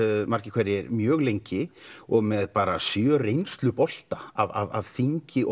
margir hverjir mjög lengi og með sjö reynslubolta af þingi og